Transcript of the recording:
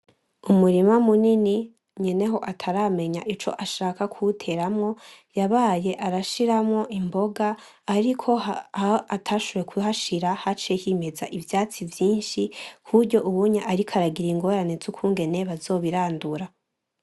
Umurima munini nyeneho ataramenye ico ashaka kuwuteramwo yabaye arashiramwo imboga ariko aho atashoboye kuhashira haciye himeza ivyatsi vyinshi kuburyo ubu ariko aragira ingorane zukungene bazobirandura .